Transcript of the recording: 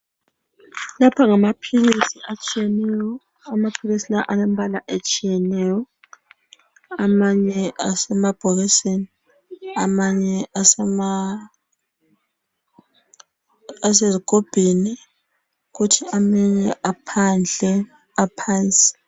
Lapha ngamaphilisi atshiyeneyo amaphilisi lawa alembala etshiyeneyo amanye asemabhokisini amanye asezigubhini kuthi amanye aphandle aphansi.